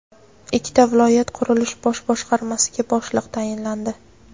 Ikkita viloyat qurilish bosh boshqarmasiga boshliq tayinlandi.